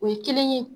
O ye kelen ye